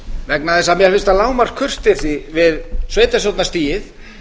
vegna þess að mér finnst það lágmarkskurteisi við sveitarstjórnarstigið